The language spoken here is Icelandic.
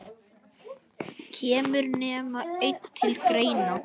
Kemur nema einn til greina?